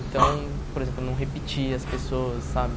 Então, por exemplo, não repetia as pessoas, sabe?